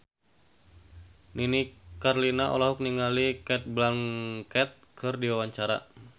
Nini Carlina olohok ningali Cate Blanchett keur diwawancara